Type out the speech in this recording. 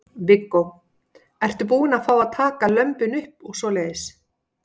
Viggó: Ertu búin að fá að taka lömbin upp og svoleiðis?